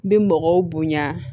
N bi mɔgɔw bonya